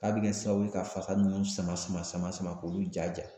A bɛ kɛ sababu ye ka fasa ninnu sama sama sama sama k'olu ja ja